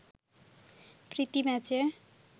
প্রীতি ম্যাচে